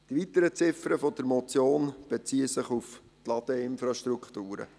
Die weiteren Ziffern der Motion beziehen sich auf die Ladeinfrastrukturen.